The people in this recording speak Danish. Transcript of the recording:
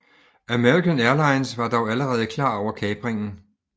American Airlines var dog allerede klar over kapringen